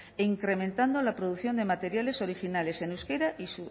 e incrementando la producción de materiales originales en euskera y